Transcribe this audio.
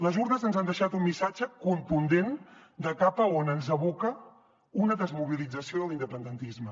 les urnes ens han deixat un missatge contundent de cap a on ens aboca una desmobilització de l’independentisme